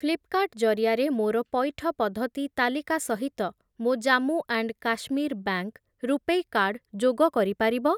ଫ୍ଲିପ୍‌କାର୍ଟ୍‌ ଜରିଆରେ ମୋର ପଇଠ ପଦ୍ଧତି ତାଲିକା ସହିତ ମୋ Jammu and Kashmir bank RuPay card ଯୋଗ କରିପାରିବ?